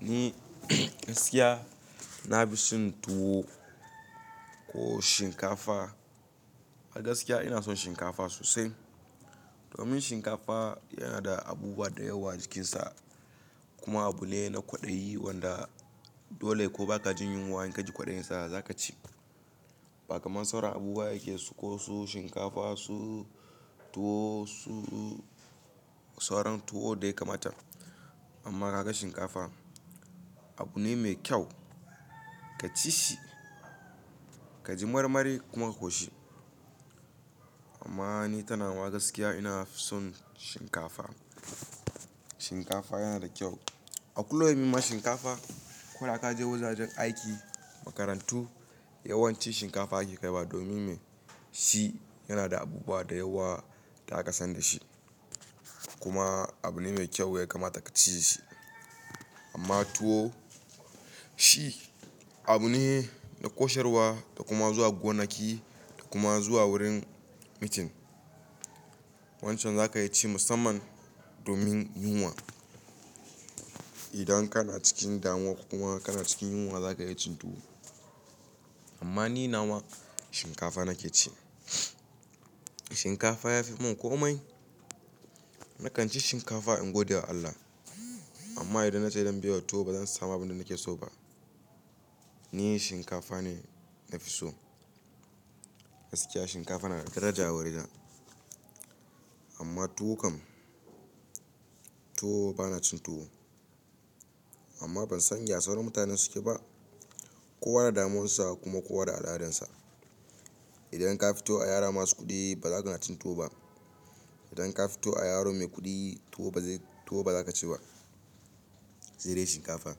Ni gaskiya nafi son tuwo ko shinkafa. A gaskiya ina son shinkafa sosai. Domin shinkafa yanada abubuwa dayawa jikinsa, kuma abune na kwaɗayi wanda dole ko bakajin yunwa in kaji kwaɗayinsa zakaci. Ba kamar sauran abubuwa yake suko su shinkafa, su tuwo, su sauran tuwo dai kamarta. Amma kaga shinkafa, abune mai kyau, ka cishi kaji marmari kuma ka koshi. Amma ni kainama gaskiya inafi son shinkafa. Shinkafa yana da kyau. A kullum yima shinkafa. Koda kaje wajajen aiki, makarantu, yawanci shinkafa ake kaiwa domin me? Shi yanada abubuwa da yawa da aka san dashi kuma abune mai kyau ya kamata kaci shi. Amma tuwo shi abune na kosharwa, da kuma zuwa gonaki, da kuma zuwa wurin meeting. Wancan zaka iyaci musamman domin yunwa. Idan kana cikin damuwa kuma kana cikin yunwa zaka iya cin tuwo. Amma ni nawa shinkafa nakeci. Shinkafa ya fi mun komai. Nakan ci shinkafa in gode wa Allah. Amma idan nace zan biyewa tuwo bazan samu abinda nake soba. Ni shinkafa ne nafi so. Gaskiya shinkafa yanada daraja a wurina. Amma tuwo kam, tuwo banacin tuwo. Amma bansan ya sauran mutanen sukeba. Kowa da damuwansa kuma kowa da al'adarsa. Idan ka fito a yara masu kuɗi ba zaka nacin tuwo ba. Idan ka fito a yaro mai kuɗi tuwo ba zai, tuwo baza kaciba. Sai dai shinkafa.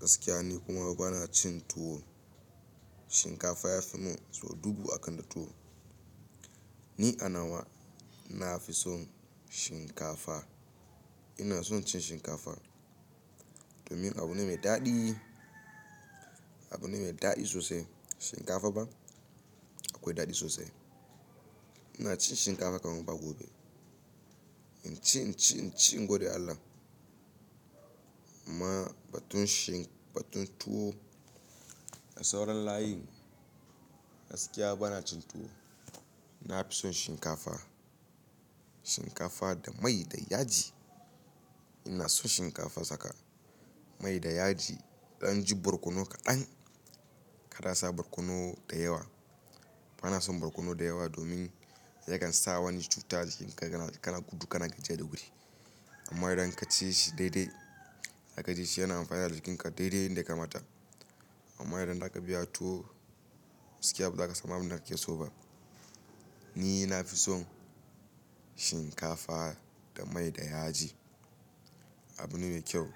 Gaskiya ni kuma bana cin tuwo. Shinkafa yafi mun so dubu akan tuwo. Ni anawa nafi son shinkafa. Ina son cin shinkafa domin abu ne mai daɗi, abu ne mai daɗi sosai. Shinkafa ba? Akwai daɗi sosai. Inacin shinkafa kamar ba gobe. In ci, in ci, in ci in gode Allah. Amma batunshi, batun tuwo. A sauran layin gaskiya bana cin tuwo. Na fi son shinkafa. Shinkafa da mai da yaji. Ina son shinkafa sakani mai da yaji. Idan yaji barkono kaɗan. Kar asa barkono da yawa. Bana son barkono da yawa domin yakansa wani cuta jikinka yana gudu, kana gajiya da wuri. Amma idanka cishi daidai, da ka ci shi yana amfana da jikinka daidai yanda ya kamata. Amma idan zaka biya tuwo gaskiya bazaka samu abinda kake soba. Ninafi son shinkafa da mai da yaji. Abune mai kyau.